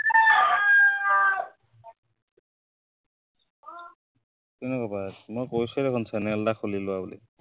কেনেকুৱা পাই আছা, মই কৈছোৱেই দেখোন channel এটা খুলি লোৱা বুলি।